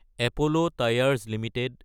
Apollo tyres Ltd